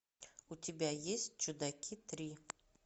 у тебя есть чудаки три